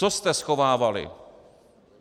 Co jste schovávali?